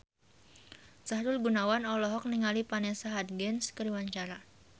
Sahrul Gunawan olohok ningali Vanessa Hudgens keur diwawancara